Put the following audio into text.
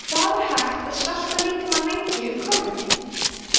hvað er hægt að svelta líkamann lengi um kolvetni